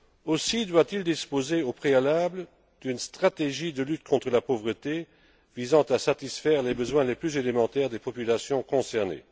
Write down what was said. Aussi doit il disposer, au préalable, d'une stratégie de lutte contre la pauvreté visant à satisfaire les besoins les plus élémentaires des populations concernées.